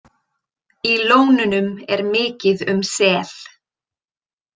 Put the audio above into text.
Í lónunum er mikið um sel.